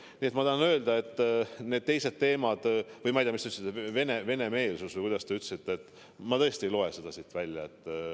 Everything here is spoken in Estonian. Nii et ma tahan öelda, nende teiste teemade kohta, millest te rääkisite – ma ei tea, Vene-meelsus või kuidas te seda ütlesitegi –, et mina tõesti ei loe seda siit välja.